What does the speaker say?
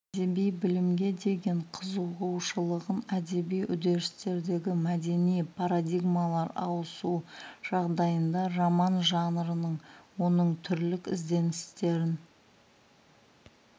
әдеби білімге деген қызығушылығын әдеби үдерістердегі мәдени парадигмалар ауысу жағдайында роман жанрының оның түрлік ізденістерін